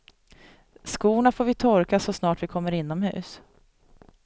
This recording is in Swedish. Skorna får vi torka så snart vi kommer inomhus.